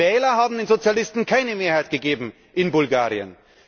Die Wähler haben den Sozialisten keine Mehrheit gegeben in Bulgarien.